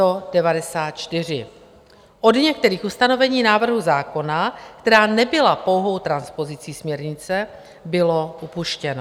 Od některých ustanovení návrhu zákona, která nebyla pouhou transpozicí směrnice, bylo upuštěno.